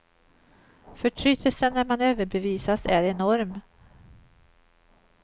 Förtrytelsen när man överbevisas är enorm.